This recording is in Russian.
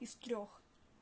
из трёх